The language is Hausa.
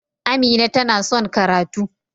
Amina ta na son karatu.